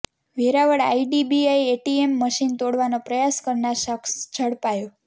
Veraval IDBI ATM machine તોડવાનો પ્રયાસ કરનાર શખસ ઝડપાયો